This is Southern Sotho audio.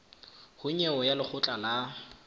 ho nyewe ya lekgotla la